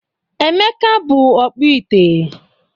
Emeka bụ ọkpụ ite.